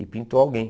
E pintou alguém.